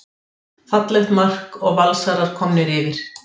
Fallegt mark og Valsarar komnir yfir.